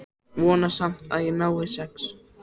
Vona samt að ég nái sex.